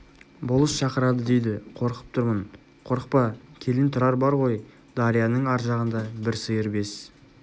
болыс шақырады дейді қорқып тұрмын қорықпа келін тұрар бар ғой дарияның ар жағында бір сиыр бес